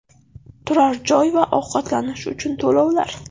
Turar joy va ovqatlanish uchun to‘lovlar.